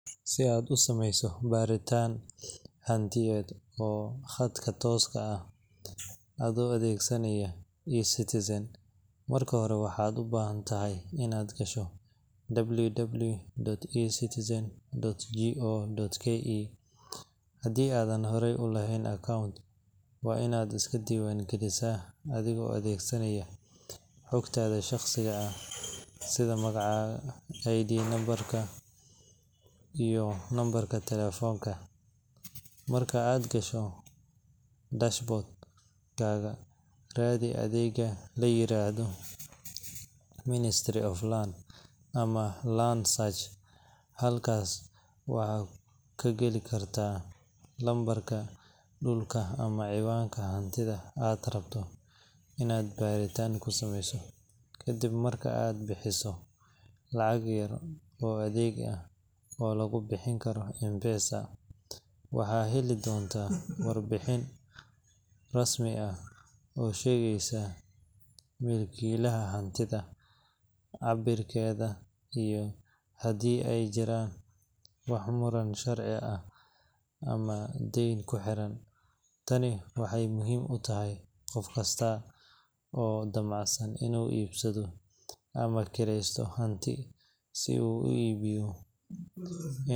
Si aad u sameyso baaritaan hantiyeed oo khadka tooska ah ah adoo adeegsanaya eCitizen, marka hore waxaad u baahan tahay inaad gasho www.ecitizen.go.ke. Haddii aadan horey u lahayn account, waa inaad iska diiwaan gelisaa adigoo adeegsanaya xogtaada shakhsiyeed sida magaca, ID number, iyo lambarka taleefanka. Marka aad gasho dashboard-kaaga, raadi adeegga la yiraahdo Ministry of Lands ama Land Search. Halkaas waxaad ku geli kartaa lambarka dhulka ama cinwaanka hantida aad rabto inaad baaritaan ku sameyso. Kadib marka aad bixiso lacag yar oo adeeg ah oo lagu bixin karo M-Pesa, waxaad heli doontaa warbixin rasmi ah oo sheegaysa milkiilaha hantida, cabbirkeeda, iyo haddii ay jiraan wax muran sharci ah ama deyn ku xiran. Tani waxay muhiim u tahay qof kasta oo damacsan inuu iibsado ama kireysto hanti si uu u hubiyo.